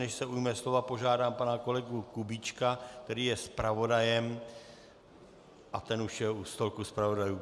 Než se ujme slova, požádám pana kolegu Kubíčka, který je zpravodajem... a ten už je u stolku zpravodajů.